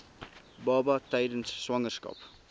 baba tydens swangerskap